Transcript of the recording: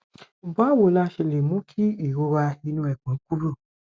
báwo la ṣe lè mú kí ìrora inu epon kúrò